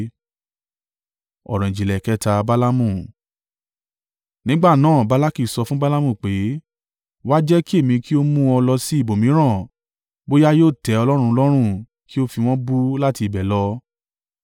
Nígbà náà Balaki sọ fún Balaamu pé, “Wá jẹ́ kí èmi kí ó mú ọ lọ sí ibòmíràn bóyá yóò tẹ́ Ọlọ́run lọ́rùn kí ó fi wọ́n bú láti ibẹ̀ lọ.”